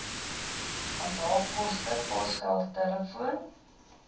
onthaalkoste posgeld telefoon